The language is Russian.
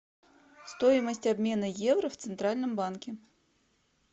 стоимость обмена евро в центральном банке